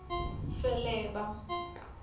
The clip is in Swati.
feleba